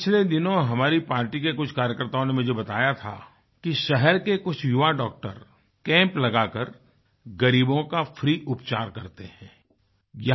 पिछले दिनों हमारी पार्टी के कुछ कार्यकर्ताओं ने मुझे बताया कि शहर के कुछ युवा डॉक्टर कैंप लगाकर ग़रीबों का फ्री उपचार करतेहैं